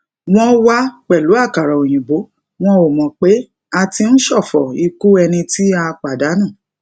wón wá pèlú àkàrà òyìnbó wọn ò mò pé a ti ń ṣòfò ikú ẹni tí a pàdánù